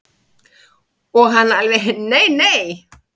Og hann alveg nei nei.